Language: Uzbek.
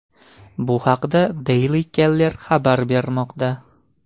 Bu haqda Daily Caller xabar bermoqda .